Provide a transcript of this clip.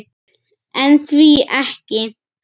En því ekki?